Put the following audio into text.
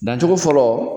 Dancogo fɔlɔ